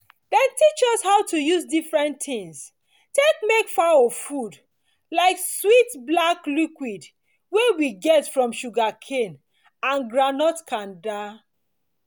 dem teach us how to use different things take make fowl food like sweet black liquid wey we get from sugarcane and groundnut kanda